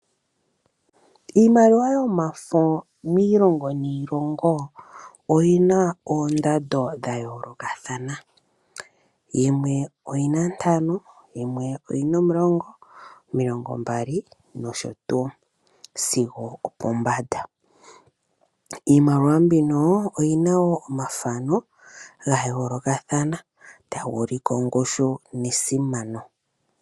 Iimaliwa yomafo miilomgo niilongo oyina oondando dha yoolokathana. Yimwe oyina ntano, yimwe oyina omulongo, omilongo mbali nosho tuu sigo opo mbanda. Iimaliwa mbino oyina wo omathano ga yoolokathana taga ulike ongushu nesimano.